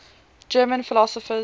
german philosophers